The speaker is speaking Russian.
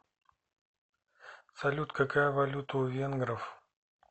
салют какая валюта у венгров